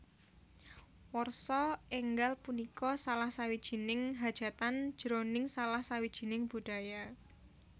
Warsa enggal punika salah sawijining hajatan jroning salah sawijining budaya